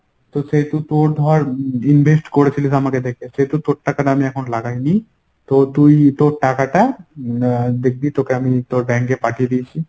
তো সেহেতু তোর ধর invest করেছিলিস আমাকে দেখে সেহেতু তোর টাকাটা আমি এখনো লাগাই নি। তো তুই তোর টাকাটা আহ দেখবি তোকে আমি তোর bank এ পাঠিয়ে দিয়েছি।